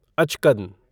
अचकन